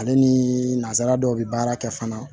Ale ni nanzara dɔw bi baara kɛ fana